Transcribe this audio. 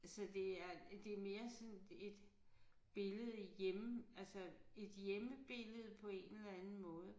Altså det er øh det mere sådan et billede hjemme altså et hjemmebillede på en eller anden måde